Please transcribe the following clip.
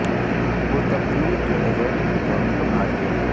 وہ تبدیلی کے ایجنٹ کے طور پر بھاگ گیا